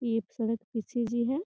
ये एक सड़क पी.सी.जी. है।